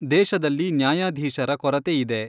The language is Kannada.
ದೇಶದಲ್ಲಿ ನ್ಯಾಯಾಧೀಶರ ಕೊರತೆ ಇದೆ.